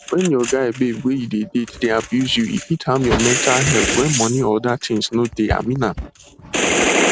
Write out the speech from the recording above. when your guy babe wey you de date dey abuse you e fit harm your mental health wen money or other things no de I mean am